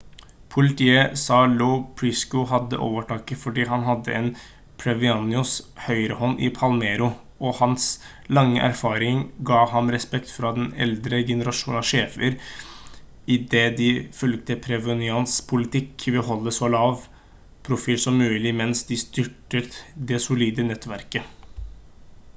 politiet sa lo piccolo hadde overtaket fordi han hadde vært provenzanos høyrehånd i palermo og hans lange erfaring ga ham respekt fra den eldre generasjonen av sjefer i det de fulgte provenzanos politikk ved å holde så lav profil som mulig mens de styrket det solide nettverket